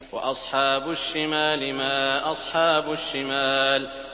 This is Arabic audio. وَأَصْحَابُ الشِّمَالِ مَا أَصْحَابُ الشِّمَالِ